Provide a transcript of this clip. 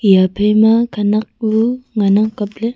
eya phaima khanak ku ngan ang kapley.